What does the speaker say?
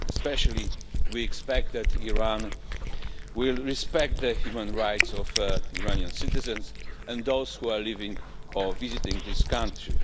Especially, we expect that Iran will respect the human rights of Iranian citizens and those living in or visiting the country.